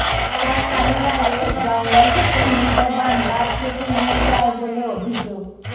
পাচারকারীরা এসে জঙ্গল থেকে মূল্যবান গাছ কেটে নিয়ে যায় বলে অভিযোগ